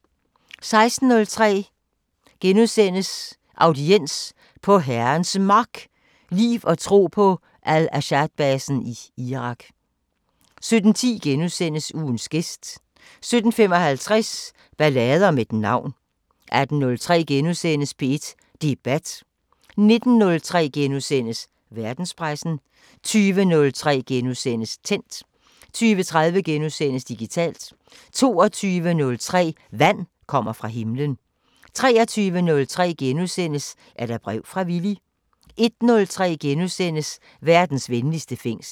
16:03: Audiens: På Herrens Mark – liv og tro på Al-Asadbasen i Irak * 17:10: Ugens gæst * 17:55: Ballade om et navn 18:03: P1 Debat * 19:03: Verdenspressen * 20:03: Tændt * 20:30: Digitalt * 22:03: Vand kommer fra himlen 23:03: Er der brev fra Villy? * 01:03: Verdens venligste fængsel *